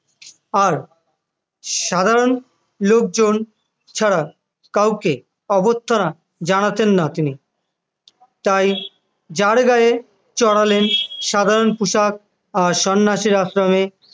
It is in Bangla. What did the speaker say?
আর সাধারণ লোকজন ছাড়া কাউকে অভ্যর্থনা জানাতেন না তিনি তাই যার গায়ে চড়ালেন সাধারণ পোশাক আর সন্ন্যাসীর আশ্রমে